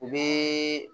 U bɛ